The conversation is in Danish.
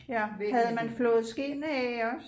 Ja havde man flået skind af også